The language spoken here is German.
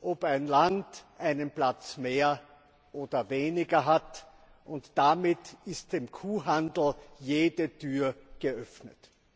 ob ein Land einen Platz mehr oder weniger hat, und damit ist dem Kuhhandel jede Tür geöffnet!